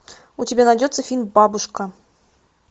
у тебя найдется фильм бабушка